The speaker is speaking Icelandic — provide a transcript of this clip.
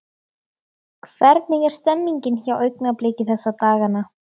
Hvernig er stemningin hjá Augnabliki þessa dagana?